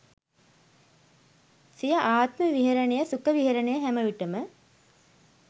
සිය ආත්ම විහරණය සුඛ විහරණය හැමවිටම